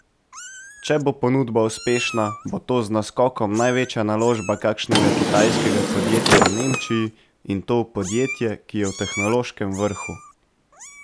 Če bo ponudba uspešna, bo to z naskokom največja naložba kakšnega kitajskega podjetja v Nemčiji, in to v podjetje, ki je v tehnološkem vrhu.